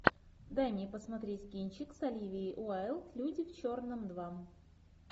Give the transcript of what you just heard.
дай мне посмотреть кинчик с оливией уайлд люди в черном два